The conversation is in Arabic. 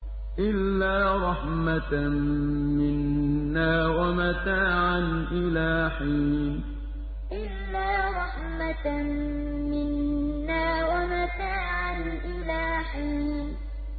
إِلَّا رَحْمَةً مِّنَّا وَمَتَاعًا إِلَىٰ حِينٍ إِلَّا رَحْمَةً مِّنَّا وَمَتَاعًا إِلَىٰ حِينٍ